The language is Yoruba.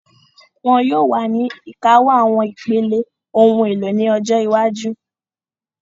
Wọ́n yóò wà ní ìkáwọ́ àwọn ipele, ohun èlò ní ọjọ́ iwájú